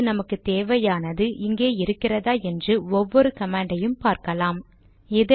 இப்போது நமக்கு தேவையானது இங்கே இருக்கிறதா என்று ஒவ்வொரு கமாண்டை யும் பார்க்கலாம்